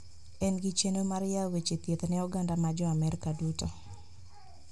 En gi chenro mar yawo weche thieth ne oganda ma jo Amerka duto